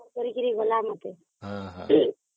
କରିକି ଗଲା ମତେ